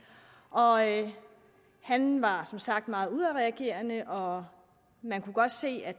han var som sagt meget udadreagerende og man kunne godt se at